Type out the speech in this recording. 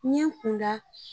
N ye n kun da.